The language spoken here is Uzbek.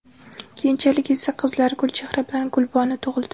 Keyinchalik esa, qizlari Gulchehra bilan Gulbonu tug‘ildi.